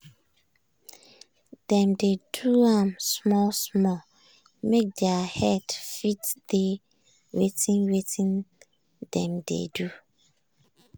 dem dey do am small-small make their head fit dey wetin wetin dem dey do.